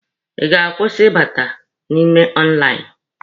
Ị ga-akwụsị ịbata n'ime lainụ?